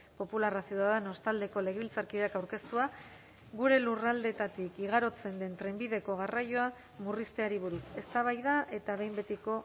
popularra ciudadanos taldeko legebiltzarkideak aurkeztua gure lurraldeetatik igarotzen den trenbideko garraioa murrizteari buruz eztabaida eta behin betiko